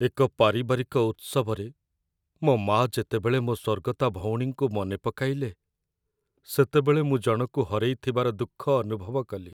ଏକ ପାରିବାରିକ ଉତ୍ସବରେ ମୋ ମାଆ ଯେତେବେଳେ ମୋ ସ୍ୱର୍ଗତା ଭଉଣୀଙ୍କୁ ମନେ ପକାଇଲେ, ସେତେବେଳେ ମୁଁ ଜଣକୁ ହରେଇଥିବାର ଦୁଃଖ ଅନୁଭବ କଲି।